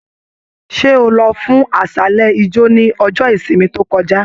Ṣe o lọ fún aṣálẹ ijo ni ọjọ ìsinmi to kọjá?